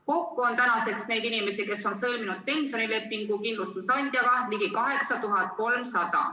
Kokku on tänaseks neid inimesi, kes on sõlminud pensionilepingu kindlustusandjaga, ligi 8300.